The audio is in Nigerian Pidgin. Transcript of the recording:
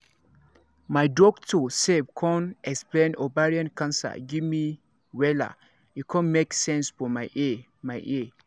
my doctor sef con explain ovarian cancer give me wella e con make sense for my ear my ear